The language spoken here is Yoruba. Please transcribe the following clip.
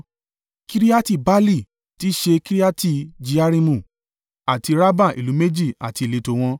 Kiriati-Baali (tí í ṣe, Kiriati-Jearimu) àti Rabba ìlú méjì àti ìletò wọn.